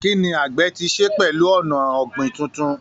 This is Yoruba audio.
Kí ni àgbẹ̀ ti ṣe pẹ̀lú ọ̀nà ọ̀gbìn tuntun?